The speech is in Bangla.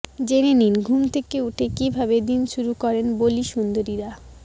জেনে নিন ঘুম থেকে উঠে কীভাবে দিন শুরু করেন বলি সুন্দরীরা